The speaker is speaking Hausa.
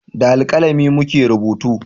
Da alkalami mu ke rubutu